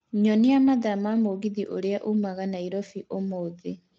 Nyonia mathaa ma mũgithi uria ũmaga Nairobi ũmũthĩ